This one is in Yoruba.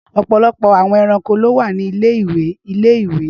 Ọpọlọpọ awọn ẹranko ni o wa ni ile-iwe ile-iwe.